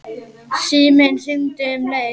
Síminn hringdi um leið.